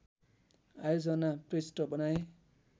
आयोजना पृष्ठ बनाएँ